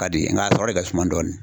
Ka di n k'a sɔrɔ de ka suma dɔɔni.